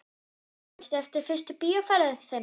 Manstu eftir fyrstu bíóferð þinni?